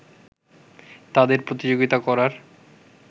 তাদের প্রতিযোগিতা করার